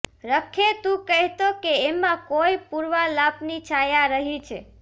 રખે તું કહેતો કે એમાં કોઈ પૂર્વાલાપની છાયા રહી છે